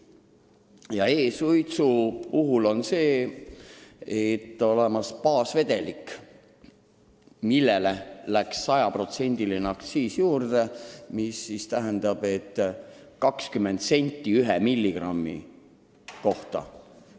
Ja e-suitsude jaoks on olemas baasvedelik, millele läks nüüd juurde kõva aktsiis ehk 20 eurosenti 1 milligrammi kohta.